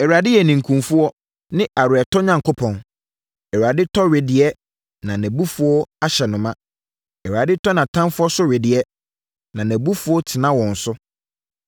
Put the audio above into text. Awurade yɛ ninkunfoɔ ne aweretɔ Onyankopɔn, Awurade tɔ wedeɛ na abufuo ahyɛ no ma. Awurade tɔ nʼatamfoɔ so wedeɛ na nʼabufuo tena wɔn so.